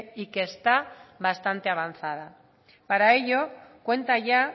y que está bastante avanzada para ello cuenta ya